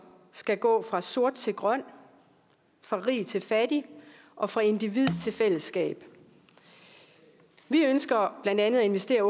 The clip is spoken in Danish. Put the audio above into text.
skal gå fra sort til grøn fra rig til fattig og fra individ til fællesskab vi ønsker blandt andet at investere